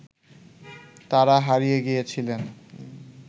তারা হারিয়ে গিয়েছিলেন